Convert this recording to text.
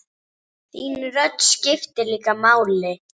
Vinstri hvað?